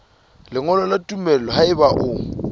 lengolo la tumello haeba o